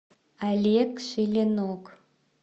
олег шилинок